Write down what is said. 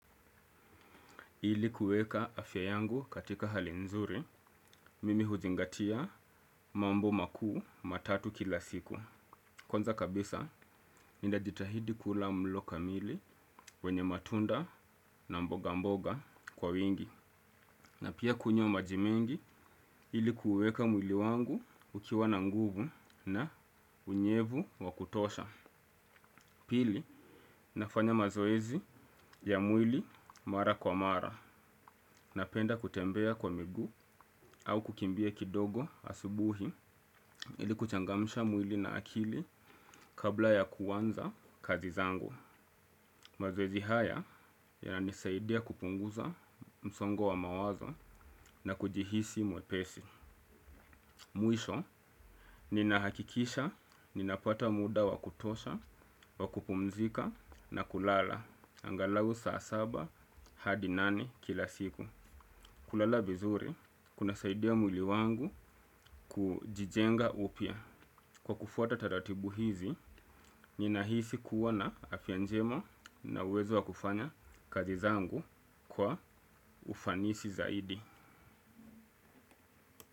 Ili kueka afya yangu katika hali nzuri, mimi huzingatia mambo makuu matatu kila siku. Kwaza kabisa ninajitahidi kula mlo kamili wenye matunda na mboga mboga kwa wingi. Na pia kunywa maji mingi, ili kueka mwili wangu ukiwa na nguvu na unyevu wa kutosha. Pili, nafanya mazoezi ya mwili mara kwa mara napenda kutembea kwa miguu au kukimbia kidogo asubuhi ili kuchangamisha mwili na akili kabla ya kuanza kazi zangu. Mazoezi haya yananisaidia kupunguza msongo wa mawazo na kujihisi mwepesi. Mwisho, ninahakikisha, ninapata muda wakutosha, wakupumzika na kulala, angalau saa saba hadi nani kila siku. Kulala vizuri, kunasaidia mwili wangu kujijenga upya. Kwa kufuata taratibu hizi, ninahisi kuwa na afya njema na uwezo wa kufanya kazi zangu kwa ufanisi zaidi.